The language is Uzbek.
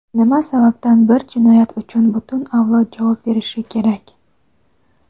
Nima sababdan bir jinoyat uchun butun avlod javob berishi kerak?.